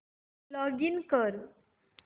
login कर